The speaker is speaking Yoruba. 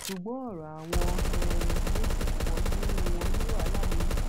ṣùgbọn ọrọ àwọn um méjì kan nínú wọn ní wàhálà nínú